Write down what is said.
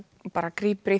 grípur í